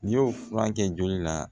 N'i y'o fura kɛ joli la